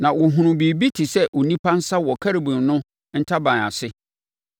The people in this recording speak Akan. (Na wɔhunu biribi te sɛ onipa nsa wɔ Kerubim no ntaban ase.)